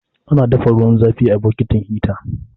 Ana dafa ruwan zafi a bokitin hita.